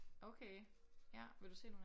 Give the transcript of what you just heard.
Okay ja. Vil du se nogle af dem?